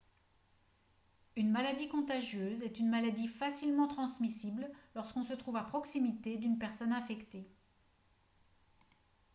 une maladie contagieuse est une maladie facilement transmissible lorsqu'on se trouve à proximité d'une personne infectée